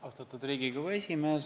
Austatud Riigikogu esimees!